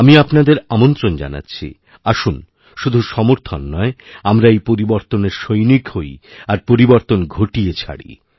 আমি আপনাদের আমন্ত্রণ জানাচ্ছি আসুন শুধুসমর্থন নয় আমরা এই পরিবর্তনের সৈনিক হই আর পরিবর্তন ঘটিয়ে ছাড়ি